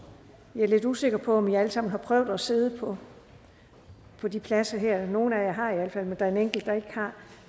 jeg er lidt usikker på om i alle sammen har prøvet at sidde på på de pladser her nogle af jer har i alt fald men der er en enkelt der ikke har